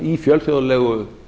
í fjölþjóðlegu